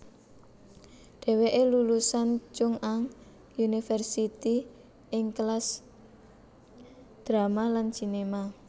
Dheweke lulusan Chung Ang University ing kelas Drama lan Cinema